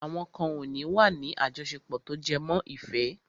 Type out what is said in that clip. Àwọn kan ò ní wà ní àjọṣepọ̀ tó jẹmọ́ ìfẹ́.